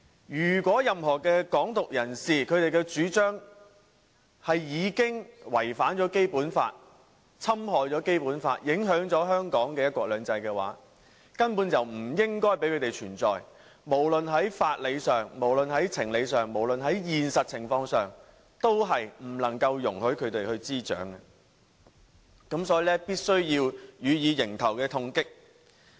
"任何"港獨"人士的主張已違反或侵害了《基本法》，影響香港的"一國兩制"，根本就不應容許他們存在，無論在法理、情理或現實情況上，也不能容許"港獨"滋長，所以必須要予以迎頭痛擊。